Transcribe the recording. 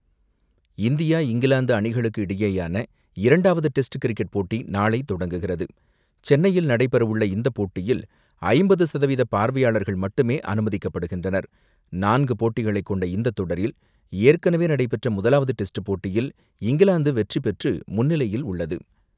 உங்களின் உரையின் துல்லிய தமிழ் மொழிபெயர்ப்பு இங்கே: இந்தியா - இங்கிலாந்து இடையேயான இரண்டாவது டெஸ்ட் கிரிக்கெட் போட்டி நாளை தொடங்குகிறது. சென்னையில் நடைபெறவுள்ள இந்த போட்டியில் 50% பார்வையாளர்கள் மட்டுமே அனுமதிக்கப்படுகின்றனர். நான்கு போட்டிகளைக் கொண்ட இந்த தொடரில் ஏற்கனவே நடைபெற்ற முதலாவது டெஸ்ட் போட்டியில் இங்கிலாந்து வெற்றிபெற்று முன்னிலையில் உள்ளது.